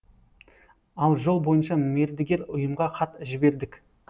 ал жол бойынша мердігер ұйымға хат жібердік